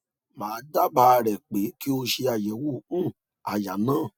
ma daaba re pe ki o se ayewo um aya na